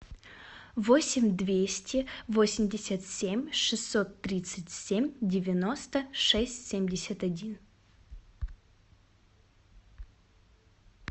восемь двести восемьдесят семь шестьсот тридцать семь девяносто шесть семьдесят один